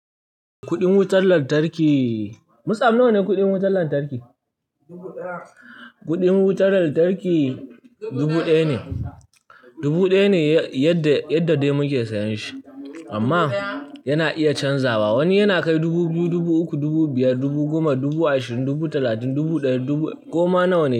Kuɗin wutar lantarki, musam nawa ne kuɗin wutar lantarki? Kuɗin wutar lantarki dubu ɗaya ne, dubu ɗaya ne yadda dai muke sayan shi amman yana iya canzawa. Wani yana kai dubu biyu, dubu uku, dubu biyar, dubu goma, dubu ashirin, dubu talatin, dubu ɗari, goma nawa ne.